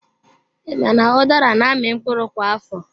I ma na udara na-amị mkpụrụ kwa afọ?